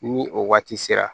Ni o waati sera